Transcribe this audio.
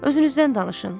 Özünüzdən danışın.